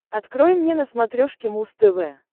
открой мне на смотрешке муз тв